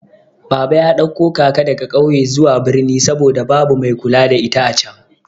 Baba ya ɗauko kaka daga ƙauye zuwa birni saboda babu mai kula da ita acan.